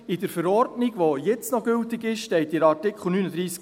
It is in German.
In der LV, die jetzt noch gültig ist, steht in Artikel 39b: